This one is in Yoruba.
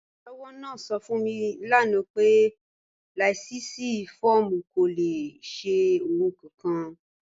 Olùṣọwọ naa sọ̀ fún mi lànà pé láìṣí fọ̀ọ̀mù kò lè ṣẹ̀ ohunkòhun.